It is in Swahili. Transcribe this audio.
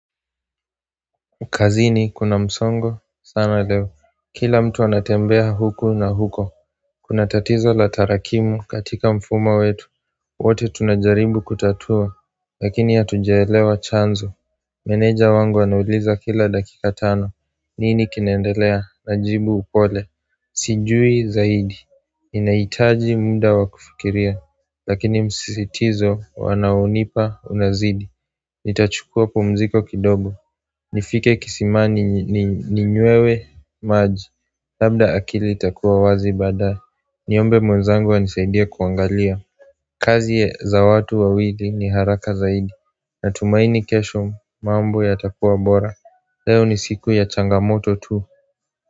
Kazini kuna msongo sana leo Kila mtu anatembea huku na huko Kuna tatizo la tarakimu katika mfumo wetu wote tunajaribu kutatua lakini hatujaelewa chanzo Meneja wangu anauliza kila dakika tano nini kinaendelea najibu pole Sijui zaidi ninahitaji muda wa kufikiria Lakini msisitizo wanaonipa unazidi Nitachukua pumziko kidogo nifike kisimani ninywewe maji Labda akili itakuwa wazi baada Niombe mwenzangu anisaidie kuangalia kazi za watu wawili ni haraka zaidi Natumaini kesho mambo yatakuwa bora Leo ni siku ya changamoto tu.